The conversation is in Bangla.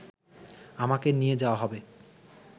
আমাকে নিয়ে যাওয়া হবে